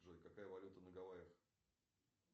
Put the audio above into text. джой какая валюта на гавайях